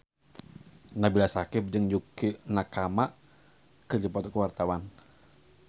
Nabila Syakieb jeung Yukie Nakama keur dipoto ku wartawan